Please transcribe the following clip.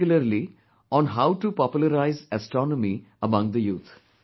Particularly, on how to popularise astronomy among the youth